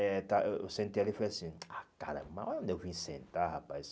Eh tal eh eu sentei ali e falei assim, caramba, onde eu vim sentar, rapaz?